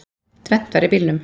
Tvennt var í bílnum.